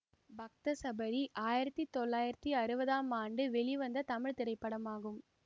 பக்த சபரி ஆயிரத்தி தொள்ளாயிரத்தி அறுபதாம் ஆண்டு வெளிவந்த தமிழ் திரைப்படமாகும்